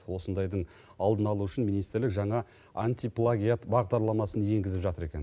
осындайдың алдын алу үшін министрлік жаңа антиплагиат бағдарламасын енгізіп жатыр екен